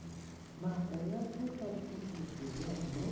nako ya tshekatshekose wa mme